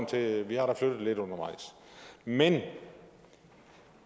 til at vi har flyttet lidt undervejs men